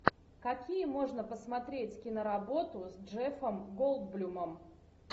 какие можно посмотреть киноработу с джеффом голдблюмом